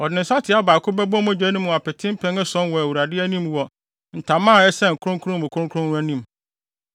Ɔde ne nsateaa baako bɛbɔ mogya no mu apete mpɛn ason wɔ Awurade anim wɔ ntama a ɛsɛn kronkron mu kronkron no anim.